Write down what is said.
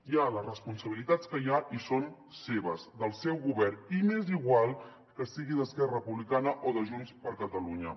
hi ha les responsabilitats que hi ha i són seves del seu govern i m’és igual que sigui d’esquerra republicana o de junts per catalunya